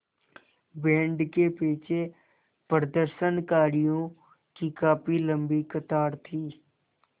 band के पीछे प्रदर्शनकारियों की काफ़ी लम्बी कतार थी